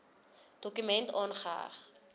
dokument aangeheg